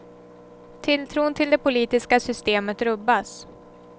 Tilltron till det politiska systemet rubbas.